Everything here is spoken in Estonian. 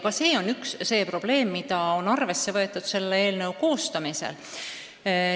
Ka see on üks probleem, mida on arvesse võetud selle eelnõu koostamisel.